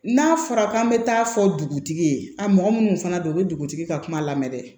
N'a fɔra k'an bɛ taa fɔ dugutigi ye a mɔgɔ minnu fana don u bɛ dugutigi ka kuma lamɛn